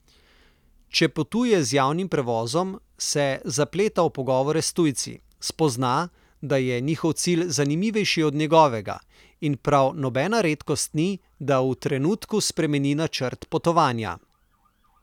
Če potuje z javnim prevozom, se zapleta v pogovore s tujci, spozna, da je njihov cilj zanimivejši od njegovega, in prav nobena redkost ni, da v trenutku spremeni načrt potovanja.